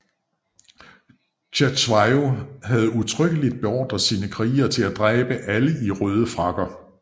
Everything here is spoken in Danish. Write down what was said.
Cetshwayo havde udtrykkelig beordret sine krigere til at dræbe alle i røde frakker